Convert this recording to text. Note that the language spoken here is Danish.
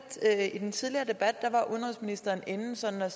i den tidligere debat var udenrigsministeren inde sådan og